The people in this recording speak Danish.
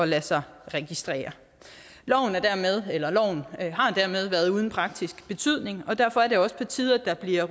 lade sig registrere loven har dermed været uden praktisk betydning og derfor er det også på tide at der bliver